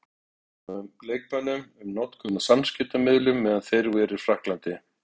Fundað var með leikmönnum um notkun á samskiptamiðlum meðan þeir eru í Frakklandi.